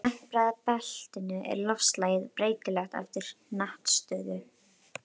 Í tempraða beltinu er loftslagið breytilegt eftir hnattstöðu.